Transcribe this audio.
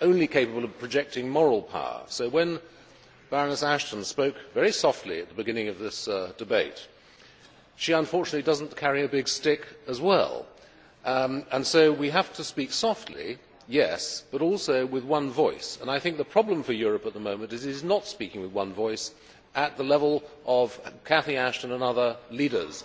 only capable of projecting moral power, so when Baroness Ashton spoke, very softly, at the beginning of this debate, she unfortunately did not carry a big stick as well. So we have to speak softly, yes, but also with one voice and I think the problem for Europe at the moment is that it is not speaking with one voice at the level of Cathy Ashton and other leaders.